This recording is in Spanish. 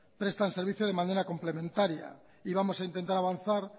prestan servicios de manera complementaria y vamos a intentar avanzar